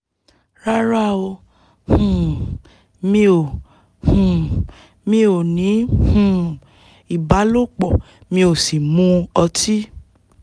rárá o um mi ò um mi ò ní um ìbálòpọ̀ mi ò sì mu ọtí